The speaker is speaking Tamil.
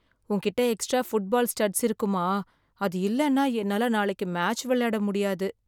உன்கிட்ட எக்ஸ்ட்ரா ஃபுட்பால் ஸ்டட்ஸ் இருக்குமா? அது இல்லேனா என்னால நாளைக்கு மேட்ச் விளையாட முடியாது.